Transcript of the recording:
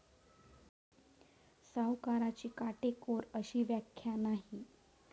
सावकाराची काटेकोर अशी व्याख्या नाही.